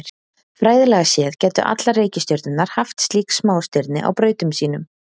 Fræðilega séð gætu allar reikistjörnurnar haft slík smástirni á brautum sínum.